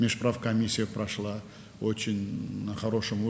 Hökumətlərarası komissiya çox yaxşı səviyyədə keçdi.